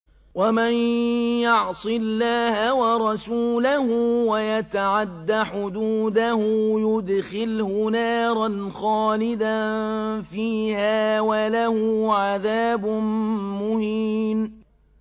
وَمَن يَعْصِ اللَّهَ وَرَسُولَهُ وَيَتَعَدَّ حُدُودَهُ يُدْخِلْهُ نَارًا خَالِدًا فِيهَا وَلَهُ عَذَابٌ مُّهِينٌ